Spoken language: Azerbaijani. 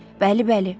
Bəli, bəli.